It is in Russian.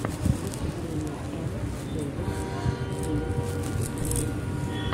выступление эм сэвен инд в ютюбе